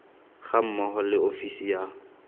ga mmogo le ofisi ya